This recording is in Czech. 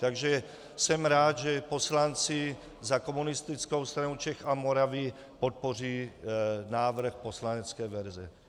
Takže jsem rád, že poslanci za Komunistickou stranu Čech a Moravy podpoří návrh poslanecké verze.